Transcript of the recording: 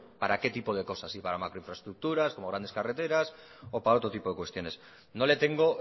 para qué tipo de cosas si para macroinfraestructuras como grandes carreteras o para otro tipo de cuestiones no le tengo